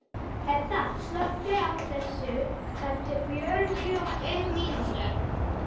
Hedda, slökktu á þessu eftir fjörutíu og fimm mínútur.